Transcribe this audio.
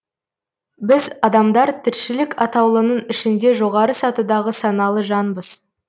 біз адамдар тіршілік атаулының ішінде жоғары сатыдағы саналы жанбыз